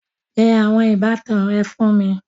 Pe àwọn ìbátan rẹ fún mi